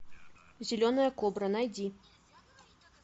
зеленая кобра найди